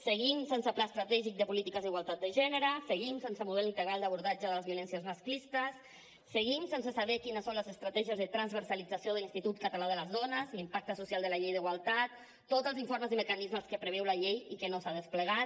seguim sense pla estratègic de polítiques d’igualtat de gènere seguim sense model integral d’abordatge de les violències masclistes seguim sense saber quines són les estratègies de transversalització de l’institut català de les dones l’impacte social de la llei d’igualtat tots els informes i mecanismes que preveu la llei i que no s’ha desplegat